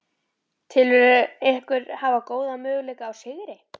Telurðu ykkur hafa góða möguleika á sigri?